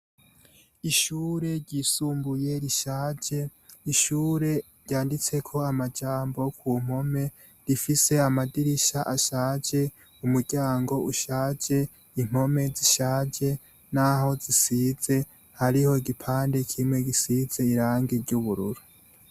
Ishure ryisumbuye rishaje, ishure ryanditseko amajambo ku mpome, rifise amadirisha ashaje, umuryango ushaje, impome zishaje naho zisize, hariho igipande kimwe gisize urangi ry'ubururu.